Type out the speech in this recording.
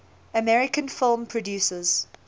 american film producers